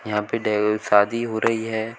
यहां पे शादी हो रही हैं।